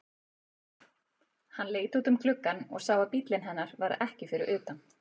Hann leit út um gluggann og sá að bíllinn hennar var ekki fyrir utan.